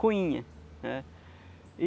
Coinha, né.